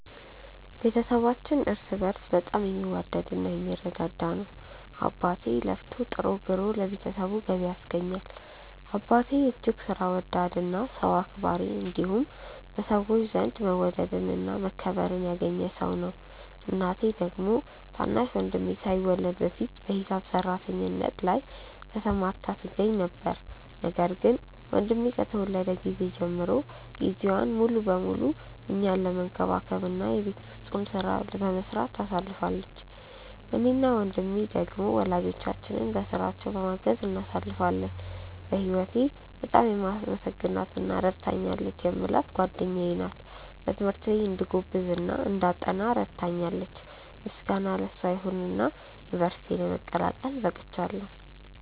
ቤተሰባችን እርስ በእርስ በጣም የሚዋደድ እና የሚረዳዳ ነው። አባቴ ለፍቶ ጥሮ ግሮ ለቤተሰቡ ገቢ ያስገኛል። አባቴ እጅግ ሥራ ወዳድ እና ሰው አክባሪ እንዲሁም በሰዎች ዘንድ መወደድን እና መከበርን ያገኘ ሰው ነው። እናቴ ደግሞ ታናሽ ወንድሜ ሳይወለድ በፊት በሂሳብ ሰራተኝነት ላይ ተሰማርታ ትገኛ ነበር፤ ነገር ግን ወንድሜ ከተወለደ ጊዜ ጀምሮ ጊዜዋን ሙሉ ለሙሉ እኛን መንከባከብ እና የቤት ውስጡን ሥራ በመስራት ታሳልፋለች። እኔ እና ወንድሜ ደሞ ሁለቱን ወላጆቻችንን በሥራቸው በማገዝ እናሳልፋለን። በህወቴ በጣም የማመሰግናት እና ረድታኛለች የምላት ጓደኛዬ ናት። በትምህርቴ እንድጎብዝ እና እንዳጠና በጣም ትረዳኛለች። ምስጋና ለሷ ይሁንና ዩንቨርስቲ ለመቀላቀል በቅቻለው።